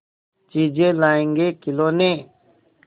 चीजें लाएँगेखिलौने